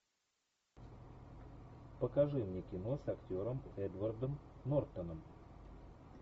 покажи мне кино с актером эдвардом нортоном